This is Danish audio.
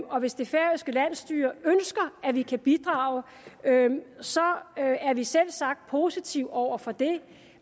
og hvis det færøske landsstyre ønsker at vi kan bidrage så er vi selvsagt positive over for det